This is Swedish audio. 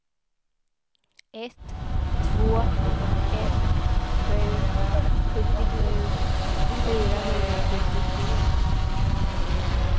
ett två ett sju sjuttiosju fyrahundrasjuttiotre